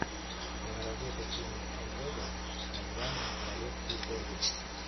киноработа кенни ортега с названием королевские корги